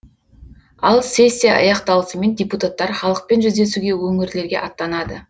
ал сессия аяқталысымен депутаттар халықпен жүздесуге өңірлерге аттанады